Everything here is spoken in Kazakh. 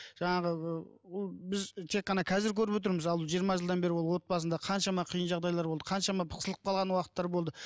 жаңағы ол біз тек қана қазір көріп отырмыз ал жиырма жылдан бері ол отбасында қаншама қиын жағдайлар болды қаншама қысылып қалған уақыттар болды